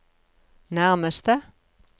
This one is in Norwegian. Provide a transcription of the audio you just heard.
nærmeste